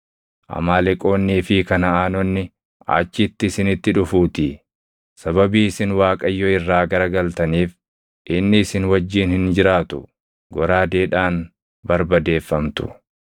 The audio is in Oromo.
Amaaleqoonnii fi Kanaʼaanonni achitti isinitti dhufuutii. Sababii isin Waaqayyo irraa garagaltaniif inni isin wajjin hin jiraatu; goraadeedhaan barbadeeffamtu.”